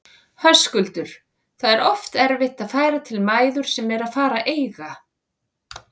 Höskuldur: Það er oft erfitt að færa til mæður sem eru að fara að eiga?